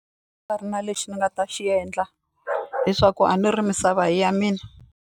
ri na lexi ni nga ta xi endla leswaku a ni ri misava a hi ya mina.